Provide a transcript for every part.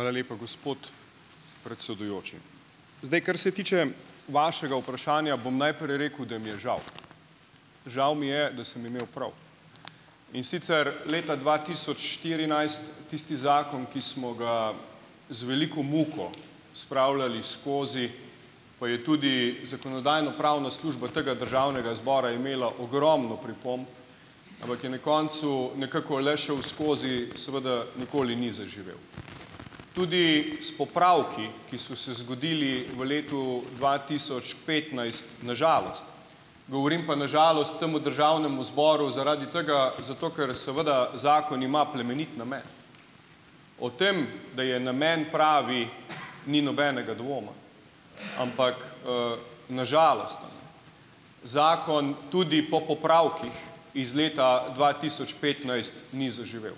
Hvala lepa, gospod predsedujoči. Zdaj, kar se tiče vašega vprašanja, bom najprej rekel, da mi je žal. Žal mi je, da sem imel prav, in sicer leta dva tisoč štirinajst, tisti zakon, ki smo ga z veliko muko spravljali skozi, pa je tudi zakonodajno-pravna služba tega državnega zbora imela ogromno pripomb, ampak je na koncu nekako le šel skozi, seveda nikoli ni zaživel, tudi s popravki, ki so se zgodili v letu dva tisoč petnajst, na žalost. Govorim pa "na žalost" temu državnemu zboru zaradi tega, zato ker seveda zakon ima plemenit namen. O tem, da je namen pravi, ni nobenega dvoma, ampak, na žalost zakon tudi po popravkih iz leta dva tisoč petnajst ni zaživel.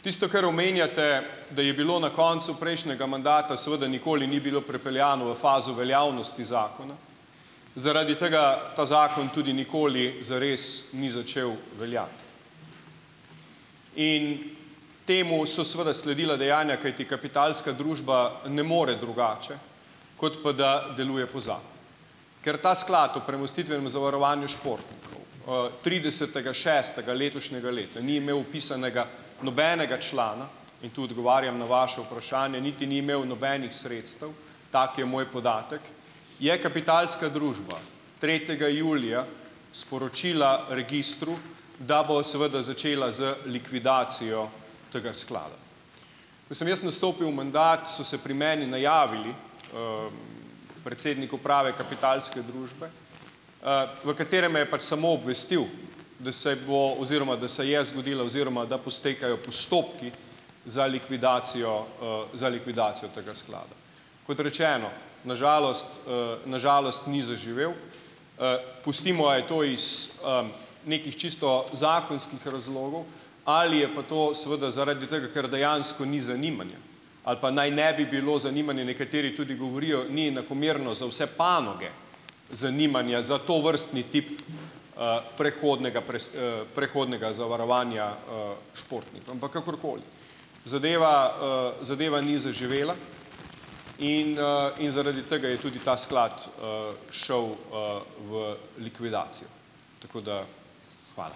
Tisto, kar omenjate, da je bilo na koncu prejšnjega mandata, seveda nikoli ni bilo prepeljano v fazo veljavnosti zakona, zaradi tega ta zakon tudi nikoli zares ni začel veljati. In temu so seveda sledila dejanja, kajti Kapitalska družba ne more drugače, kot pa da deluje po Ker ta sklad o premostitvenem zavarovanju športnikov. tridesetega šestega letošnjega leta ni imel vpisanega nobenega člana in tu odgovarjam na vaše vprašanje, niti ni imel nobenih sredstev, tak je moj podatek, je Kapitalska družba tretjega julija sporočila registru, da bo seveda začela z likvidacijo tega sklada. Ko sem jaz nastopil mandat, so se pri meni najavili, predsednik uprave Kapitalske družbe, v katerem me je pač sam obvestil, da se bo oziroma da se je zgodila oziroma da potekajo postopki za likvidacijo, za likvidacijo tega sklada. Kot rečeno, na žalost, na žalost ni zaživel. Pustimo, a je to iz, nekih čisto zakonskih razlogov, ali je pa to seveda zaradi tega, ker dejansko ni zanimanja ali pa naj ne bi bilo zanimanja, nekateri tudi govorijo, ni enakomerno za vse panoge zanimanja za tovrstni tip, prehodnega prehodnega zavarovanja, športnik, ampak kakorkoli. Zadeva, zadeva ni zaživela in, zaradi tega je tudi ta sklad, šel, v likvidacijo. Tako da. Hvala.